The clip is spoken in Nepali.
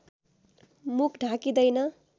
मुख ढाकिँदैन